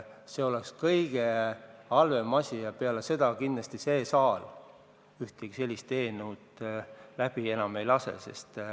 See oleks kõige halvem asi ja peale seda kindlasti see saal ühtegi sellist eelnõu enam läbi ei lase.